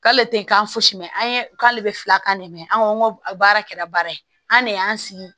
K'ale tɛ k'an fosi mɛn an ye k'ale bɛ filakan de mɛn an baara kɛra baara ye an ne y'an sigi